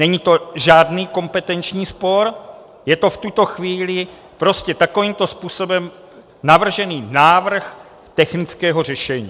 Není to žádný kompetenční spor, je to v tuto chvíli prostě takovýmto způsobem navržený návrh technického řešení.